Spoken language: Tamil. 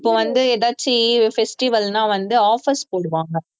இப்போ வந்து எதாச்சு festival ன்னா வந்து offers போடுவாங்க